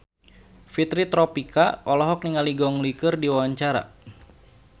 Fitri Tropika olohok ningali Gong Li keur diwawancara